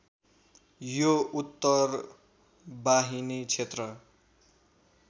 यो उत्तरवाहिनी क्षेत्र